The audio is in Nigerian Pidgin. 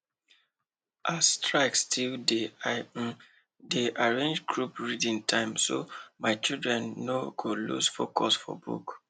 as strike still dey i um dey arrange group reading time so my children no go lose focus for book